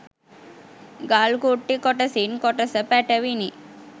ගල් කුට්ටි කොටසින් කොටස පැටවිණි.